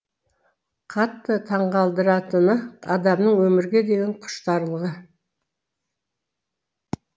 қатты таңқалдыратыны адамның өмірге деген құштарлығы